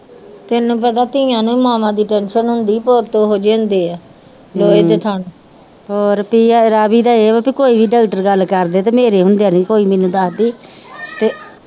ਤੈਨੂੰ ਪਤਾ ਧੀਆਂ ਨੂੰ ਮਾਵਾਂ ਦੀ ਟੇਂਸ਼ਨ ਹੁੰਦੀ ਆ ਪੁੱਤ ਤੇ ਓਹੋ ਜੇ ਹੁੰਦੇ ਆ ਲੋਹੇ ਦੇ ਥਣ ਪ੍ਰਿਆ ਰਾਵੀ ਦਾ ਇਹ ਆ ਕੇ ਕੋਈ ਵੀ ਡਕਟਰ ਗੱਲ ਕਰਦੇ ਤੇ ਮੇਰੇ ਹੁੰਦਿਆਂ ਨੀ ਕੋਈ ਮੈਨੂੰ ਦਸਦੀ ਤੇ